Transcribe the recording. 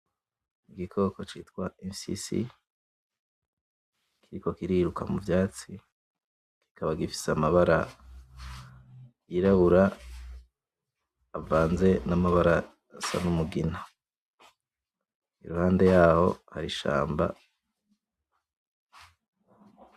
Igikoko citwa imfyisi kiriko kiriruka muvyatsi kikaba gifise amabara y'irabura avanze n'amabara asa n'umugina iruhande yaho hari ishamba.